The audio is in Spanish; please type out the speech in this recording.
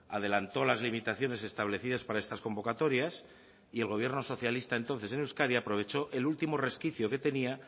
adelantó las limitaciones establecidas para estas convocatorias y el gobierno socialista entonces en euskadi aprovechó el último resquicio que tenía